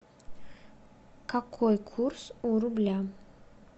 какой курс у рубля